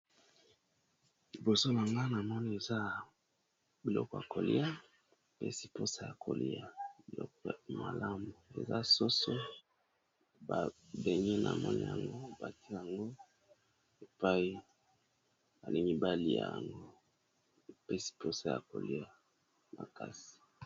Liboso nanga nazomon eza biloko ya kolia pe posa ya kolia biloko malamu eza soso babelisi namoni yango batie yango epai ya mibali yango pe posa ya kolia makasi.